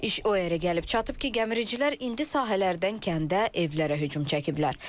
İş o yerə gəlib çatıb ki, gəmiricilər indi sahələrdən kəndə, evlərə hücum çəkiblər.